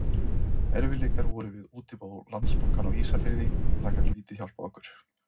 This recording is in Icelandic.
Erfiðleikar voru við útibú Landsbankans á Ísafirði og það gat lítið hjálpað okkur.